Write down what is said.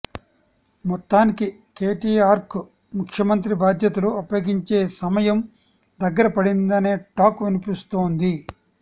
మొత్తానికి కేటీఆర్కు ముఖ్యమంత్రి బాధ్యతలు అప్పగించే సమయం దగ్గరపడిందనే టాక్ వినిపిస్తోంది